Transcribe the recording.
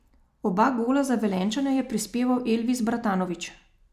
Oba gola za Velenjčane je prispeval Elvis Bratanović.